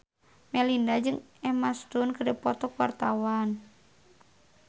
Melinda jeung Emma Stone keur dipoto ku wartawan